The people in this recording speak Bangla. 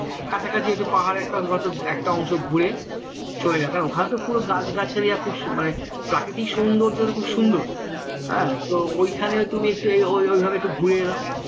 কাছাকাছি একটা পাহাড় একটা হয়তো একটা অংশ ঘুরে চলে এলাম কারণ ওখানে তো পুরো গাছগাছালি মানে প্রাকৃতিক সৌন্দর্য খুব সুন্দর হ্যাঁ তো ওইখানে তুমি তুমি একটু ওইভাবে একটু ঘুরে এলাম